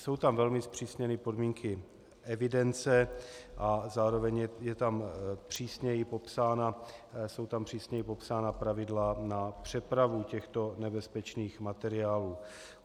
Jsou tam velmi zpřísněny podmínky evidence a zároveň jsou tam přísněji popsána pravidla pro přepravu těchto nebezpečných materiálů.